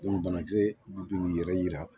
banakisɛ de b'u yɛrɛ yira